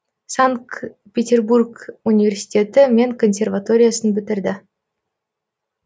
санкт петербург университеті мен консерваториясын бітірді